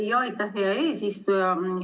Aitäh, hea eesistuja!